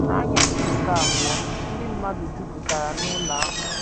N’anyasị nke abụọ, ndị mmadụ jupụtara n’ụlọ ahụ. ”